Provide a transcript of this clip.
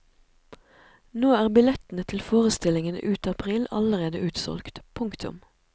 Nå er billettene til forestillingene ut april allerede utsolgt. punktum